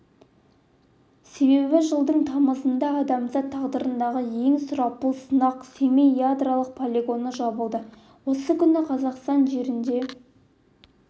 себебі жылдың тамызында адамзат тағдырындағы ең сұрапыл сынақ семей ядролық полигоны жабылды осы күні қазақстан жерінде